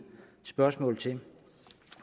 spørgsmål til